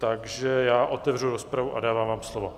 Takže já otevřu rozpravu a dávám vám slovo.